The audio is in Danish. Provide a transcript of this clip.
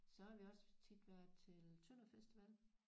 Så har vi også tit været til Tønderfestival